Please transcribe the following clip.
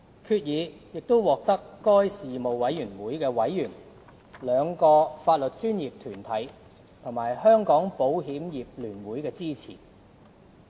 決議亦獲得事務委員會委員、兩個法律專業團體和香港保險業聯會的支持。